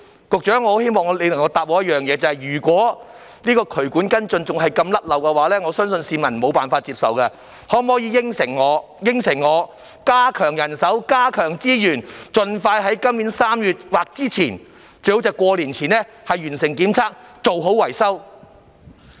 局長，我希望你給我答覆，如果渠管跟進的工作仍然這般疏漏，我相信市民是無法接受的，你可否答應加強人手，加強資源，盡快在今年3月或之前，最好是在農曆新年前完成檢測，做好維修？